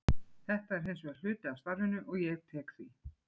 Þetta er hins vegar hluti af starfinu og ég tek því.